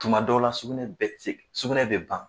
Tuma dɔw la sugunɛ bɛ ti se sugunɛ bi ban